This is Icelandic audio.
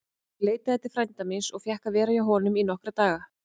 Ég leitaði til frænda míns og fékk að vera hjá honum í nokkra daga.